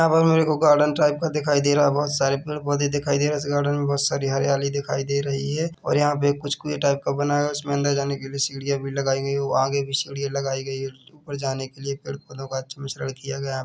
यहाँ पर मेरे को गार्डन टाईप का दिखाई दे रहा है बहुत सारे पैड पौधे दिखाई दे रहे है गार्डन मै बहोत सारी हरियाली दिखाई दे रही है और यहां पे कुछ कुवे टाईप का बना हुआ है उसके अंदर जाने के लिए सीढ़ियां भी लगाई गई है आगे भी सीडिया लगाई गई है उपर जाने के लिए पैड़ पौधे का अच्छा मिश्रन किया गया है।